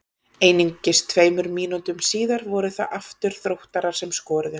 Einungis tveimur mínútum síðar voru það aftur Þróttarar sem skoruðu.